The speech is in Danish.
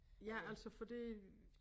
Ja altså for det